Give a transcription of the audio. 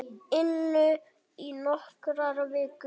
inu í nokkrar vikur.